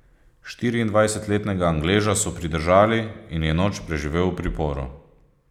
Štiriindvajsetletnega Angleža so pridržali in je noč preživel v priporu.